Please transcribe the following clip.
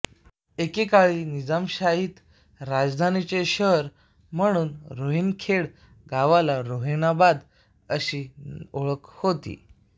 एकेकाळी निजामशाहीत राजधानीचे शहर म्हणून रोहिणखेड गावाला रोहिणाबाद अशी ओळख होती